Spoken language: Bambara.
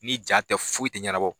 Ni ja tɛ foyi tɛ ɲɛnabɔ